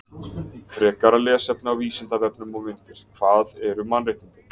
Frekara lesefni á Vísindavefnum og myndir Hvað eru mannréttindi?